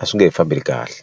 a swi nge hi fambeli kahle.